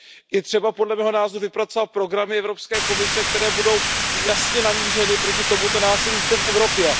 Je třeba, podle mého názoru, vypracovat programy Evropské komise, které budou jasně namířeny proti tomuto násilí zde v Evropě.